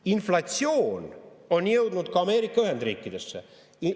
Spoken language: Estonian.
Inflatsioon on jõudnud ka Ameerika Ühendriikidesse.